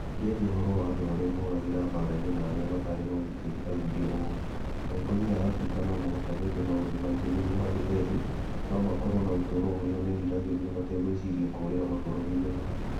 Akĩaria ũhoro wa andũ arĩa moragĩra mbaara-inĩ na arĩa matarĩ na ũgitĩri, oigire ũũ: "Atongoria a Afrika no mũhaka meke maũndũ maingĩ nĩgwo andũ ethĩ no makorũo na ũtũũro ũrĩa meriragĩria mategweciria kũũrĩra mabũrũri-inĩ mao".